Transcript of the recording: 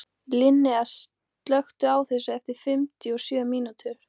Linnea, slökktu á þessu eftir fimmtíu og sjö mínútur.